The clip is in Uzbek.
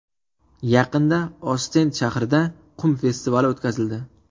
Yaqinda Ostend shahrida qum festivali o‘tkazildi.